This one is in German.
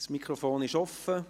Das Mikrofon ist offen.